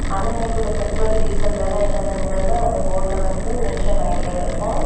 அண்ணனைகுள்ள petrol diesel விலை என்னஎன்கிறத அந்த போர்டுல வந்து மென்ஷன் ஆயிட்டே இருக்கும்.